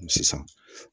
Sisan